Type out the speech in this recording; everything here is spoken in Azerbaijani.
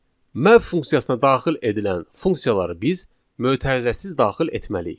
Map funksiyasına daxil edilən funksiyaları biz mötərizəsiz daxil etməliyik.